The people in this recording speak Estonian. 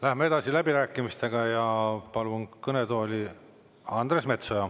Läheme edasi läbirääkimistega ja palun kõnetooli Andres Metsoja.